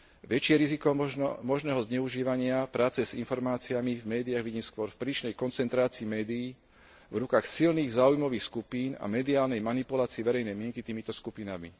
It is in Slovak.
Väčšie riziko možného zneužívania práce s informáciami v médiách vidím skôr v prílišnej koncentrácii médií v rukách silných záujmových skupín a mediálnej manipulácii verejnej mienky týmito skupinami.